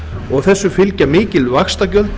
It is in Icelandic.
og þessu fylgja mikil vaxtagjöld